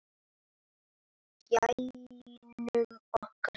Gæjunum okkar tveim.